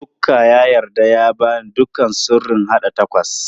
Luka ya yarda ya ba ni duka sirrin haɗa tacos.